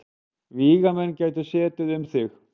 Vígamenn gætu setið um þig.